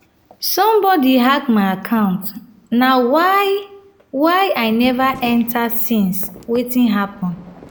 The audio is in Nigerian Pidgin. somebody hack my account na why why i never enter since wetin happen?